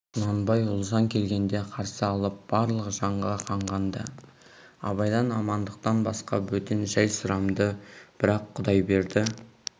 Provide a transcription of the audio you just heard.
құнанбай ұлжан келгенде қарсы алып барлық жанға қанған-ды абайдан амандықтан басқа бөтен жай сұрамады бірақ құдайберді